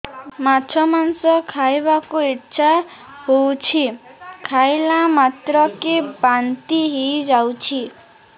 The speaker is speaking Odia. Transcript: ମାଛ ମାଂସ ଖାଇ ବାକୁ ଇଚ୍ଛା ହଉଛି ଖାଇଲା ମାତ୍ରକେ ବାନ୍ତି ହେଇଯାଉଛି